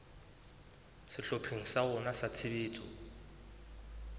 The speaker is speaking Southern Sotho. sehlopheng sa rona sa tshebetso